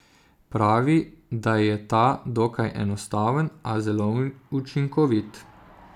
Pravi, da je ta dokaj enostaven, a zelo učinkovit.